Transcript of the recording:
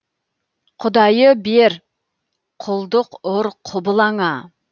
құдайы бер құлдық ұр құбылаңа